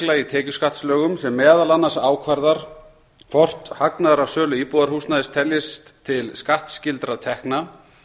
í tekjuskattslögum sem meðal annars ákvarðar hvort hagnaður af sölu íbúðarhúsnæðis teljist til skattskyldra tekna